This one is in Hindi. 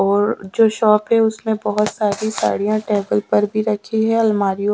और जो शॉप है उसमें बहुत सारी साड़ियां टेबल पर भी रखी है अलमारीयों--